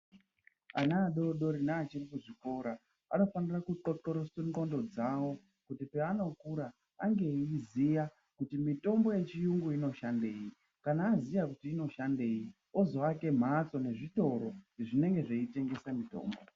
Ana adodori neari chiri kuchikora anofanire kuxoxorose ndxondo dzawo kuti paanokura ange achiziya kuti mitombo yechiyungu inoshandei kana aziya kuti inoshandei ozoake mhatso nezvitoro zvinenge zveitengese mitombo.